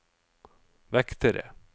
vektere